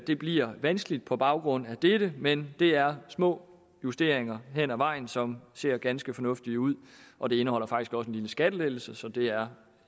det bliver vanskeligt på baggrund af dette men det er små justeringer hen ad vejen som ser ganske fornuftige ud og det indeholder faktisk også en lille skattelettelse så det er